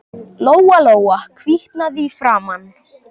Lóa-Lóa hvítnaði í framan.